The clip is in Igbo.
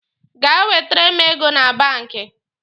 Gaa wetere m ego na banki!